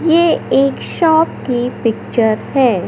ये एक शॉप के पिक्चर है।